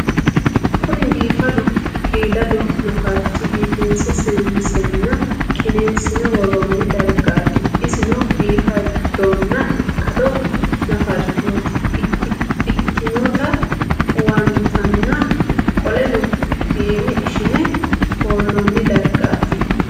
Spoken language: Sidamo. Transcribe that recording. Kuni bifadu qidadu nafarich bifinse sesinsena qinesine woroni darigati isino bifadona ikado nafarichoti ikinota huwantana qoleno fine ishine hooloni dargti